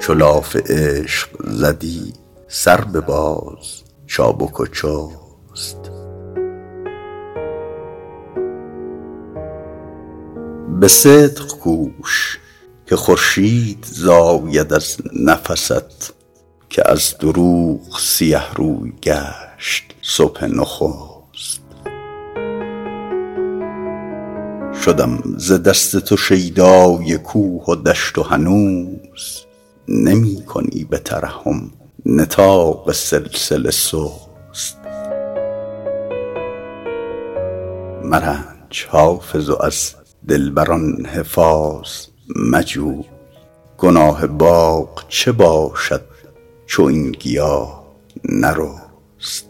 چو لاف عشق زدی سر بباز چابک و چست به صدق کوش که خورشید زاید از نفست که از دروغ سیه روی گشت صبح نخست شدم ز دست تو شیدای کوه و دشت و هنوز نمی کنی به ترحم نطاق سلسله سست مرنج حافظ و از دلبر ان حفاظ مجوی گناه باغ چه باشد چو این گیاه نرست